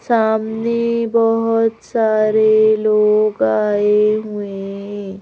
सामने बहुत सारे लोग आए हुए हैं।